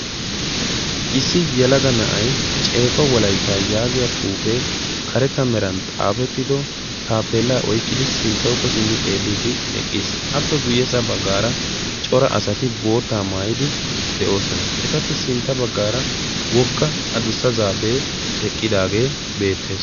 issi yelaga na'ay ceeqqo Wolayta yaagiyaa xuufe de'iyo taappeella oyqqidi sinttawukko simmi eqqiis. appe guyyeesa baggara cora asati bootta maayyid eqqidoosona. etappe sintta baggara wogga addussa zaape eqqiidaage beettees.